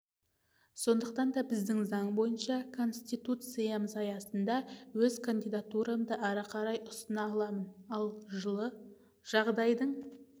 сондықтан да біздің заң бойынша конституциямыз аясында өз кандидатурамды ары қарай ұсына аламын ал жылы жағдайдың